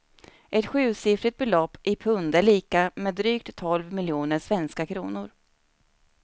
Ett sjusiffrigt belopp i pund är lika med drygt tolv miljoner svenska kronor.